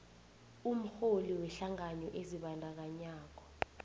umrholi wehlangano ezibandakanyako